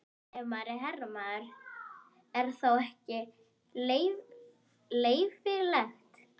Ef maður er herramaður, er þetta þá ekki leyfilegt?